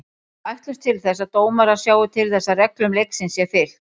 Við ætlumst til þess að dómarar sjái til þess að reglum leiksins sé fylgt.